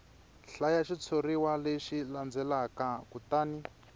hlaya xitshuriwa lexi landzelaka kutani